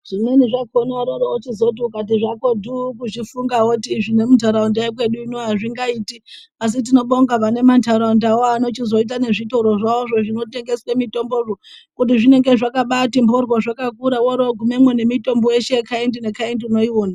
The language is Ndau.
Zvimweni zvakona unoroziti ukati zvakotu kuzvifunga woti vemundaraunda veduwo Azvingaiti asi tinobonga vane mandaraundavo anochizoita nezvitoro zvawo Zvinotengeswa mitombo kuti zvinenge Zvakati mboryo woroguma nemitombo yeshe yekaindi nekaindi unoiona.